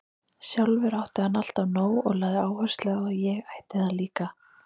Sjálfur átti hann alltaf nóg og lagði áherslu á að ég ætti það líka.